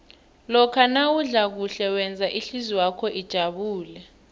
lokha nawudla kuhle wenza ihlizwakho ijabule